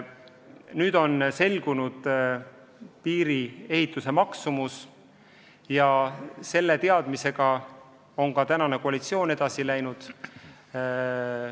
Nüüd on selgunud piiri ehituse tegelik maksumus ja selle teadmisega on tänane koalitsioon edasi läinud.